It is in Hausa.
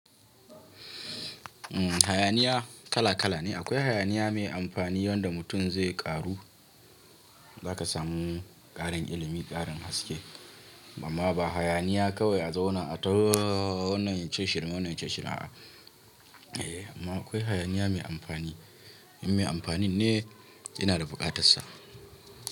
Umm hayaniya kala-kala ne. Akwai hayaniya mai amfani yanda mutum zai ƙaru, za ka sami ƙarin ilimi, ƙarin haske. Amma ba hayaniya kawai a zaune a tauna wannan yace shirime, wannan shirime. Eh amma akwai hayaniya mai amfani. In mai amfani ne, yana da bukatarsa.